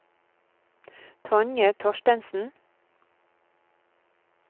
Tonje Thorstensen